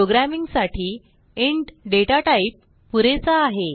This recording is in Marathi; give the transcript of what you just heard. प्रोग्रॅमिंग साठी इंट दाता टाइप पुरेसा आहे